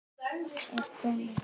Er komið skip?